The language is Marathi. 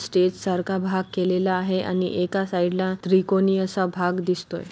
स्टेज सारखा भाग केलेला आहे आणि एका साइड ला त्रिकोणी असा भाग दिसतोय.